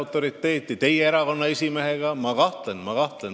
Kui seda võrrelda teie erakonna esimehega, siis ma kahtlen.